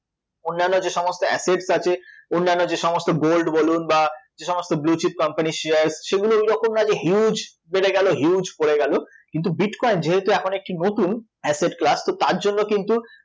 অন্যান্য যেসমস্ত assets আছে, অন্যান্য যে সমস্ত gold বলুন বা যেসমস্ত blue chip companies share সেগুলো এইরকম না যে huge বেড়ে গেল huge পড়ে গেল কিন্তু bitcoin যেহেতু এখন একটি নতুন asset club তো তার জন্য কিন্তু